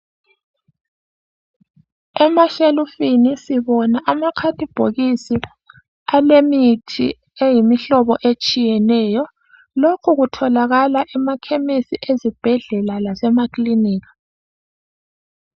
Emashelufini sibona amakhadibhokisi alemithi eyimihlobo etshiyeneyo lokhu kutholakala emakhemesi , ezibhedlela lasemakhilinika.